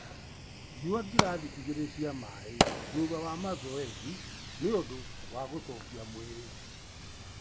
Nyua ngirathi igĩrĩ cia maĩ thutha a mazoezi nĩũndũ wa gũcokia mwĩrĩ.